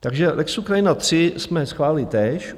Takže lex Ukrajina 3 jsme schválili též.